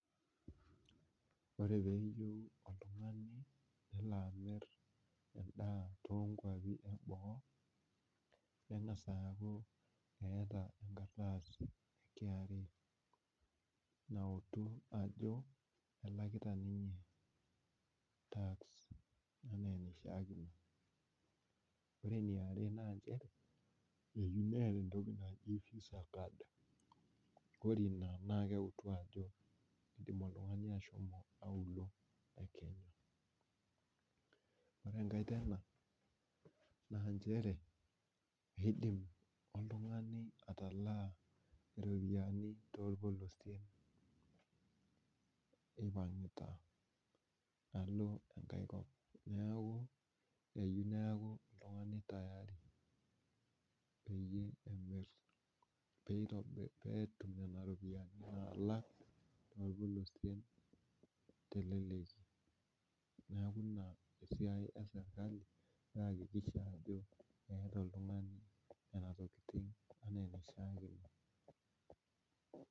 Ore peeyieu oltungani nelo amir edaa too nkuapi eboo, keng'as aaku eeta enkardasi e kra. nautu ajo elakita ninye task anaa enaishaakino. ore eniare eyieu neeta, entoki naji visa card more Ina naa keutu ajo kidim oltungani ashomo aulouo e kenya .ore enkae iidim oltungani atalaa iropiyiani tolpolosien impangita alo ae kop. neeku eyieu neeku oltungani tayari. peyie etum Nena ropiyiani naalang orpolosie teleleki. neeku Ina esiai esirkali nayakikisha ajoo eeta oltungani Nena tokitin.